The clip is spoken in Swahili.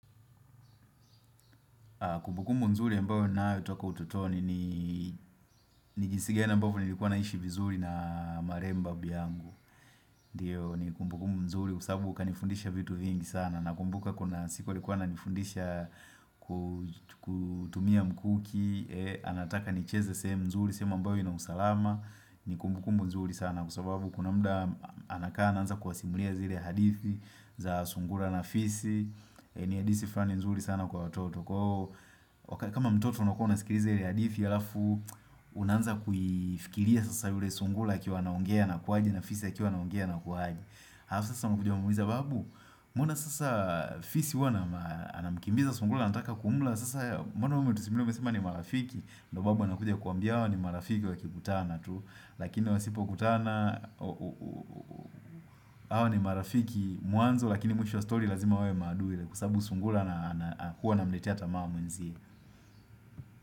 Kumbukumbu nzuri ambayo ninayo toka ututoni niii ni njisi gani ambavyo nilikuwa naishi vizuri naaa marehemu babu yangu. Ndiyo ni kumbukumbu nzuri kwa sababu kanifundisha vitu vingi sana. Nakumbuka kuna siku alikuwa ananifudishaa ku kutumia mkuki. Eeh anataka nicheze sehemu nzuri sehemu ambayo ina usalama. Ni kumbukumbu nzuri sana kwasababu kuna muda anakaa anaanza kuwasimulia zile hadithi za sungura na fisi. Ni hadithi fulani nzuri sana kwa watoto. Kwaoo wakat kama mtoto unakuwa unasikiliza ile hadithi halafu unaanza kuiifikiria sasa yule sungura akiwa anaogea anakuwaje na fisi akiwa anaogea anakuwaje halafu sasa unakuja kumuuliza babu Mbona sasa aa fisi huwa anamaa anamkimbiza sungura anataka kumula Sasa mbona wewe umetusimulia umesema ni marafiki, ndio babu anakuja kukuambia hawa ni marafiki wakikutana tu. Lakini wasipo kutana aaa uuu Hawa ni marafiki mwanzo Lakini mwisho wa story lazima wewe maadui ile. Kwasababu sungura naa ana na huwa anamletea tamaa mwenzie.